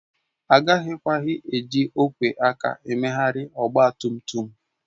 Agakwaghị eji ogwe aka emegharị ọgba tum tum